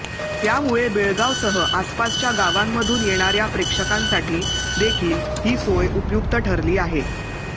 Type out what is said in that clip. त्यामुळे बेळगावसह आसपासच्या गावांमधून येणाऱया प्रेक्षकांसाठी देखील ही सोय उपयुक्त ठरली आहे